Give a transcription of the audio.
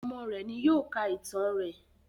Ọmọ rẹ ni yóò ká ìtàn rẹ